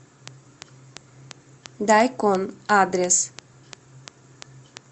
дайкон адрес